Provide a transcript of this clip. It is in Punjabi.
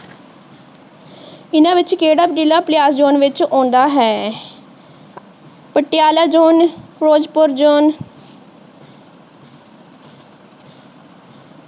ਇਹਨਾਂ ਵਿੱਚ ਕਿਹੜਾ ਜ਼ਿਲਾ ਪਾਲਿਆਸ ਵਿੱਚ ਆਉਂਦਾ ਹੈ ਪਟਿਆਲਾ ਜੋਨ ਫਿਰੋਜ਼ਪੁਰ ਜੋਨ